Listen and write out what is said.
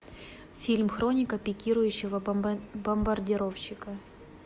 фильм хроника пикирующего бомбардировщика